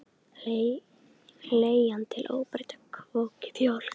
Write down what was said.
Leggja til óbreyttan kvóta í mjólk